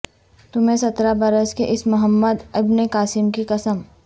تمہیں سترہ برس کے اس محمد ابن قاسم کی قسم